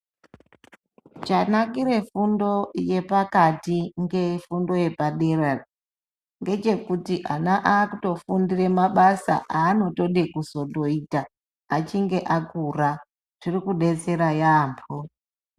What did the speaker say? Chanakire fundo yepakati ngefundo yepadera ngechekuti ana akutofundire mabasa aanotode kuzondoita achinge akura, zviri kudetsera yaamho.